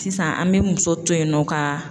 Sisan an bɛ muso to yen nɔ ka.